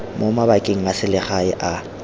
mo mabakeng a selegae a